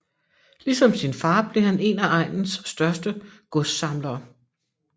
Ligesom sin fader blev han en af egnens største godssamlere